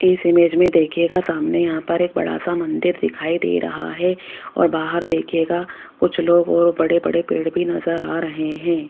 इस इमेज में देखिएगा सामने यहां पर एक बड़ा सा मंदिर दिखाई दे रहा है और बाहर देखियेगा कुछ लोग और बड़े बड़े पेड़ भी नजर आ रहे हैं।